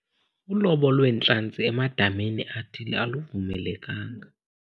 Ulobo lweentlanzi emadameni athile aluvumelekanga.